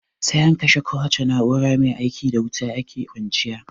Sai an kashe kowace na'ura maia ikin da wuta ake kwanciya.